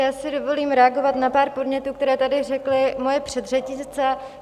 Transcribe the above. Já si dovolím reagovat na pár podnětů, které tady řekly moje předřečnice.